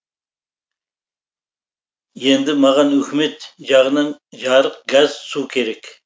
енді маған үкімет жағынан жарық газ су керек